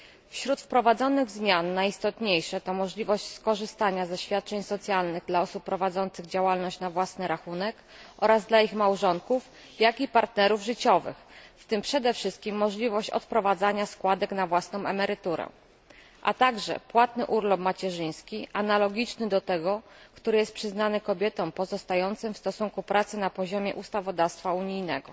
Wśród wprowadzonych zmian najistotniejsze to możliwość skorzystania ze świadczeń socjalnych dla osób prowadzących działalność na własny rachunek oraz dla ich małżonków, jak i partnerów życiowych, w tym przede wszystkim możliwość odprowadzania składek na własną emeryturę, a także płatny urlop macierzyński analogiczny do tego, który jest przyznawany kobietom pozostającym w stosunku pracy na poziomie ustawodawstwa unijnego.